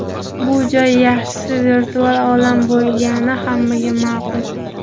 Bu joy, yaxshisi, virtual olam bo‘lgani hammaga ma’qul.